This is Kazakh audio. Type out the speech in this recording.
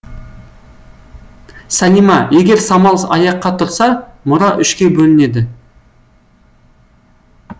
салима егер самал аяққа тұрса мұра үшке бөлінеді